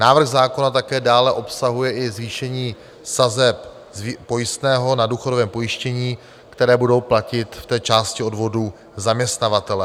Návrh zákona také dále obsahuje i zvýšení sazeb pojistného na důchodovém pojištění, které budou platit v té části odvodů zaměstnavatelé.